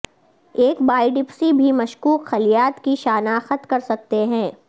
ایک بایڈپسی بھی مشکوک خلیات کی شناخت کر سکتے ہیں